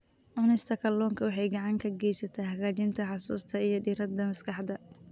Cunista kalluunka waxay gacan ka geysataa hagaajinta xusuusta iyo diiradda maskaxda.